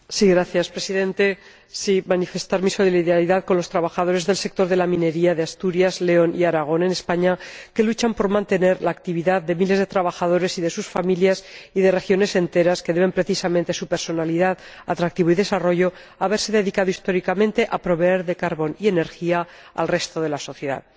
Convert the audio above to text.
Señor Presidente, quiero manifestar mi solidaridad con los trabajadores del sector de la minería de Asturias, León y Aragón, en España, que luchan por mantener la actividad de miles de trabajadores y de sus familias y de regiones enteras que deben precisamente su personalidad, atractivo y desarrollo a haberse dedicado históricamente a proveer de carbón y energía al resto de la sociedad.